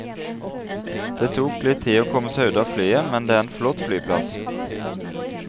Det tok litt tid å komme seg ut av flyet, men det er en flott flyplass.